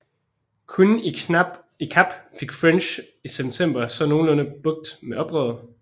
Kun i Kap fik French i september så nogenlunde bugt med oprøret